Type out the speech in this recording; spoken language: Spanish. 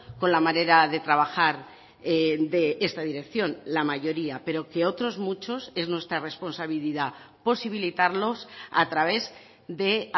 con la manera de trabajar de esta dirección la mayoría pero que otros muchos es nuestra responsabilidad posibilitarlos a través de